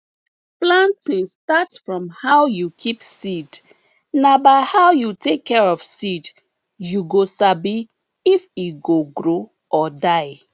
planting start from how you keep seed na by how you take care of seed you go sabi if e go grow or die